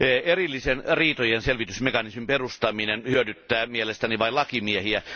Erillisen riitojenselvitysmekanismin perustaminen hyödyttää mielestäni vain lakimiehiä.